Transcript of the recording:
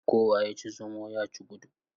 Kowa ya ci zomo, ya ci gudu.